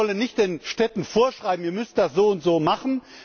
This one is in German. Wir wollen nicht den Städten vorschreiben Ihr müsst das so und so machen.